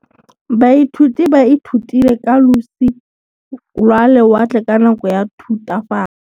Baithuti ba ithutile ka losi lwa lewatle ka nako ya Thutafatshe.